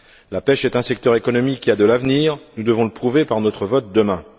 La pêche est un secteur économique qui a de l'avenir, nous devons le prouver par notre vote demain.